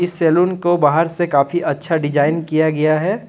Salon को बाहर से काफ़ी अच्छा डिजाइन किया गया है।